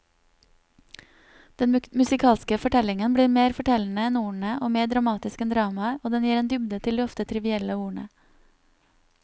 Den musikalske fortellingen blir mer fortellende enn ordene og mer dramatisk enn dramaet, og den gir en dybde til de ofte trivielle ordene.